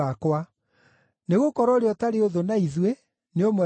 Nĩgũkorwo ũrĩa ũtarĩ ũthũ na ithuĩ nĩ ũmwe witũ.